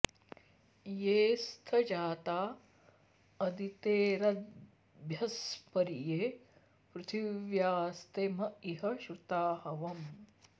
ये स्थ जा॒ता अदि॑तेर॒द्भ्यस्परि॒ ये पृ॑थि॒व्यास्ते म॑ इ॒ह श्रु॑ता॒ हव॑म्